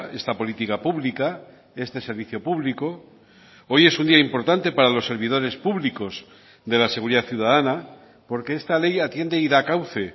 esta política pública este servicio público hoy es un día importante para los servidores públicos de la seguridad ciudadana porque esta ley atiende y da cauce